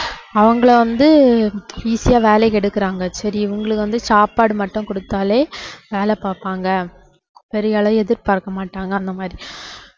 அவங்களை வந்து easy யா வேலைக்கு எடுக்கறாங்க சரி இவங்களுக்கு வந்து சாப்பாடு மட்டும் கொடுத்தாலே வேலை பாப்பாங்க எதிர்பாக்கமாட்டாங்க அந்த மாதிரி